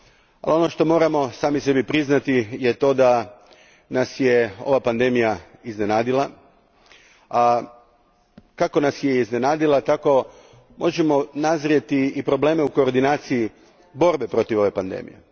Ali ono što moramo sami sebi priznati je to da nas je ova pandemija iznenadila, a kako nas je iznenadila tako možemo nazrijeti i probleme u koordinaciji borbe protiv ove pandemije.